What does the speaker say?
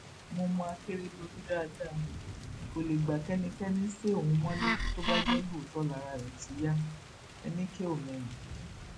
mo mọ akérèdọlù dáadáa kó lè gbá kẹnikẹni sé òun mọlẹ tó bá jẹ lóòótọ lára rẹ ti yá enikeomehin